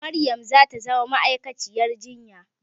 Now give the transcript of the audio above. Maryam za ta zama ma'aikaciyar jinya